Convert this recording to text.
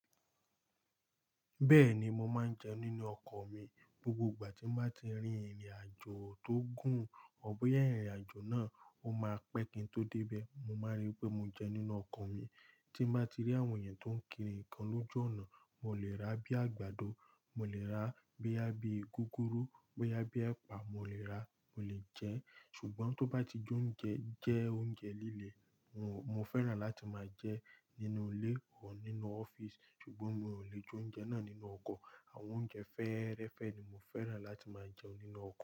Bẹ́ẹ̀ni, mo máa ń jẹ nínú ọkọ̀ mi. Gbogbo ìgbà tí mo bá ti rí ìrìnàjò tó gùn, ọr boya ìrìnàjò náà ó máa pẹ́ kí n tó dé bẹ̀, mo máa rí pé mo jẹ nínú ọkọ̀ mi. Tí n bá ti rí àwọn èèyàn tó ń kiri ǹkan lójú ọ̀nà, mo lè rà á bí i àgbàdo, mo lè rà á boya bi i gúgúrú, bóyá bí i ẹ̀pà, mo lè rà á, mo lè jẹ ẹ́. Ṣùgbọ́n tó bá ti jọ́ ń jẹ jẹ́ oúnjẹ líle, mo mo fẹ́ràn láti máa jẹ nínú ilé or nínú ọ́fíìsì. Ṣùgbọ́n mi ò lè jó oúnjẹ náà nínú ọkọ̀. Àwọn oúnjẹ fẹ́ẹ́rẹ́fẹ́ ni mo fẹ́ràn láti máa jẹ nínú ọkọ̀